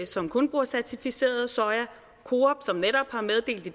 som kun bruger certificeret soja